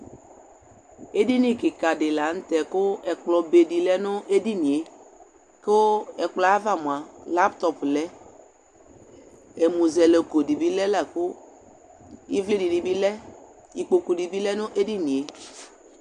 edini keka di lantɛ kò ɛkplɔ be di lɛ no edinie kò ɛkplɔɛ ava moa laptɔp lɛ ɛmuzɛlɛkò di bi lɛ la kò ivli di ni bi lɛ ikpoku di bi lɛ no edinie.